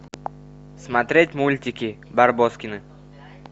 смотреть мультики барбоскины